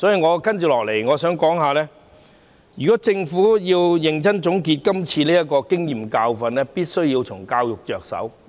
我接下來想指出，如果政府要認真總結今次的經驗和教訓，就必須從教育着手。